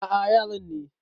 A a yaran ne.